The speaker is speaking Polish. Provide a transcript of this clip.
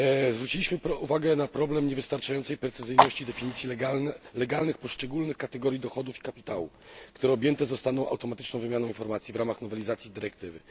Zwróciliśmy uwagę na niewystarczającą precyzyjność definicji prawnych poszczególnych kategorii dochodów i kapitału, które objęte zostaną automatyczną wymianą informacji w ramach nowelizacji dyrektywy.